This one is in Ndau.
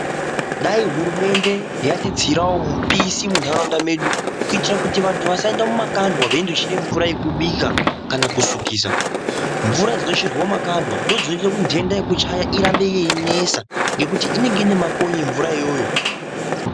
Dai hurumende yatitsirawo mupisi muntaraunda medu kuitira vantu vasaenda mumakandwa veindochera mvura yekubika kana kusikisa, mvura dzinocherwa mumakandwa ndodzinoita kuti ntenda yekuchaya irambe yeinesa ngekuti inenge ine makonye mvura iyoyo.